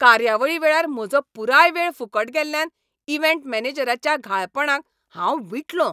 कार्यावळी वेळार म्हजो पुराय वेळ फुकट गेल्यान इव्हेंट मॅनेजराच्याच्या घाळपणाक हांव विटलों.